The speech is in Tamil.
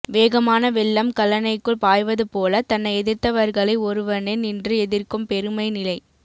வேகமான வெள்ளம் கல்லணைக்குள் பாய்வதுபோல தன்னை எதிர்த்தவர்களை ஒருவனே நின்று எதிர்க்கும் பெருமைநிலை